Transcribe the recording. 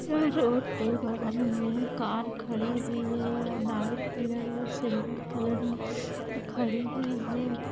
ओ road के बगल मे कार खड़ी हुई है ऑर व्हाइट कलर ऑर सिल्वर कलर खड़ी हुई है।